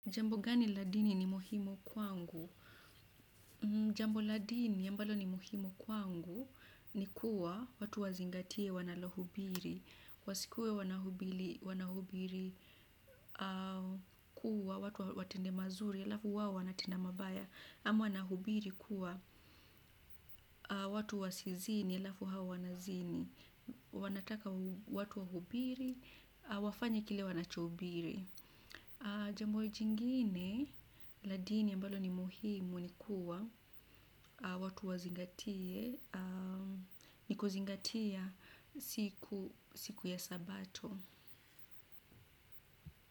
Jambo gani la dini ni muhimu kwangu. Jambo la dini ambalo ni muhimu kwangu ni kuwa watu wazingatie wanalohubiri wasikue wanahubiri kuwa watu watende mazuri alafu wao wanatenda mabaya ama wanahubiri kuwa watu wasizini alafu hao wanazini wanataka watu wahubiri wafanye kile wanachohubiri. Jambo jingine la dini ambalo ni muhimu ni kuwa watu wazingatia. Nikuzingatia siku ya sabato.